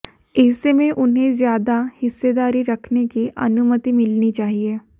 ऐसे में उन्हें ज्यादा हिस्सेदारी रखने की अनुमति मिलनी चाहिए